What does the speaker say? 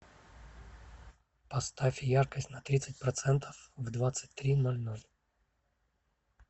поставь яркость на тридцать процентов в двадцать три ноль ноль